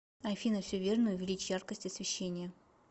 афина все верно увеличь яркость освещения